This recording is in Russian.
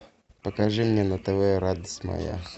покажи мне на тв радость моя